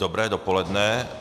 Dobré dopoledne.